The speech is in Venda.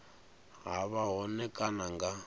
ha vha hone kana nga